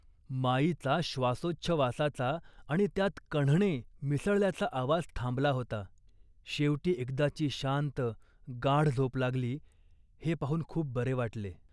माईचा श्वासोच्छ्वासाचा आणि त्यात कण्हणे मिसळल्याचा आवाज थांबला होता. शेवटी एकदाची शांत, गाढ झोप लागली हे पाहून खूप बरे वाटले